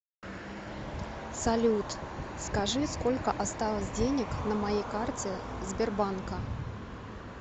салют скажи сколько осталось денег на моей карте сбербанка